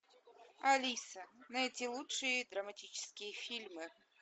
алиса найди лучшие драматические фильмы